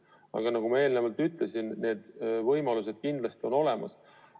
Aga nagu ma eelnevalt ütlesin, need võimalused kindlasti on olemas.